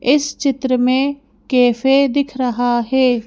इस चित्र में कैफे दिख रहा है।